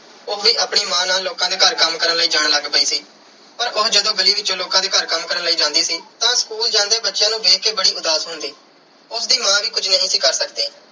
ਉਹ ਵੀ ਆਪਣੀ ਮਾਂ ਨਾਲ ਲੋਕਾਂ ਦੇ ਘਰ ਕੰਮ ਕਰਨ ਲਈ ਜਾਣ ਲੱਗ ਪਈ ਸੀ ਪਰ ਉਹ ਜਦੋਂ ਗਲੀ ਵਿੱਚੋਂ ਲੋਕਾਂ ਦੇ ਘਰ ਕੰਮ ਕਰਨ ਲਈ ਜਾਂਦੀ ਸੀ, ਤਾਂ school ਜਾਂਦੇ ਬੱਚਿਆਂ ਨੂੰ ਦੇਖ ਕੇ ਬੜੀ ਉਦਾਸ ਹੁੰਦੀ। ਉਸ ਦੀ ਮਾਂ ਵੀ ਕੁਝ ਨਹੀਂ ਸੀ ਕਰ ਸਕਦੀ